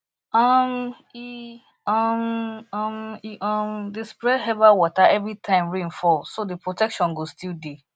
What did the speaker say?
um e um um e um dey spray herbal water every time rain fall so the protection go still dey